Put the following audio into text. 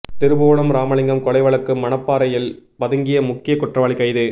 திருபுவனம் ராமலிங்கம் கொலை வழக்கு மணப்பாறையில் பதுங்கிய முக்கிய குற்றவாளி கைது